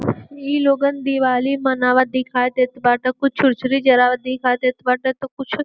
ई लोगन दिवाली मनावत दिखई देत बाटे। कुछ छुरछुरी जरावत दिखाई देत बाटे तो कुछ --